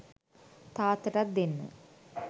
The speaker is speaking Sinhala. තාත්තටත් දෙන්න